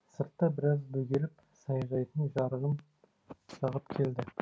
сыртта біраз бөгеліп саяжайдың жарығын жағып келді